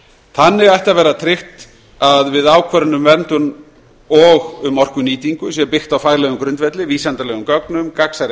þannig ætti að vera tryggt að við ákvörðun um vernd og um orkunýtingu sé byggt á faglegum grundvelli vísindalegum gögnum gagnsærri